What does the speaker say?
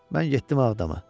Mən getdim Ağdama.